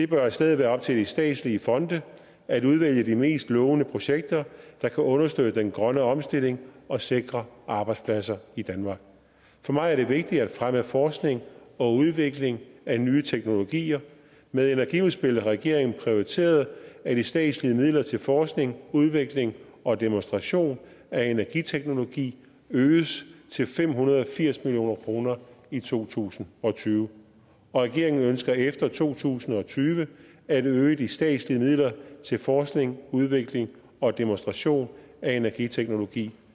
bør i stedet være op til de statslige fonde at udvælge de mest lovende projekter der kan understøtte den grønne omstilling og sikre arbejdspladser i danmark for mig er det vigtigt at fremme forskning og udvikling af nye teknologier med energiudspillet har regeringen prioriteret at de statslige midler til forskning udvikling og demonstration af energiteknologi øges til fem hundrede og firs million kroner i to tusind og tyve regeringen ønsker efter to tusind og tyve at øge de statslige midler til forskning udvikling og demonstration af energiteknologi